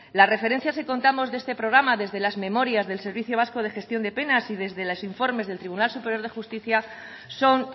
la referencia si contamos de este programa desde las memorias del servicio vasco de gestión de penas y desde los informes del tribunal superior de justicia son